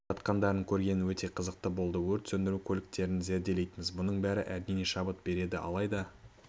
жатқандарын көрген өте қызықты болды өрт сөндіру көліктерін зерделейтінбіз бұның бәрі әрине шабыт берді алайда